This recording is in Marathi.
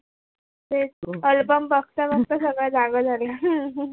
तेच album बघता बघता सगळ जागा झाला